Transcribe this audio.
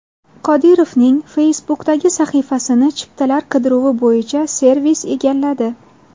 Qodirovning Facebook’dagi sahifasini chiptalar qidiruvi bo‘yicha servis egalladi.